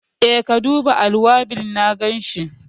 E, ka duba alwabil, na ganshi.